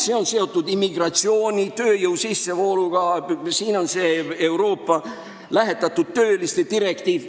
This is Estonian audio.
See on seotud immigratsiooni, tööjõu sissevoolu ja Euroopa lähetatud töötajate direktiiviga.